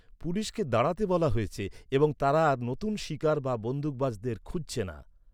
পুলিশকে দাঁড়াতে বলা হয়েছে এবং তারা আর নতুন শিকার বা বন্দুকবাজদের খুঁজছে না।